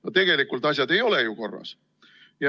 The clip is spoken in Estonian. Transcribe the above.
No tegelikult asjad ei ole ju korras.